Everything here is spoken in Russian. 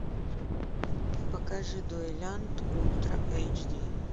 покажи дуэлянт ультра эйч ди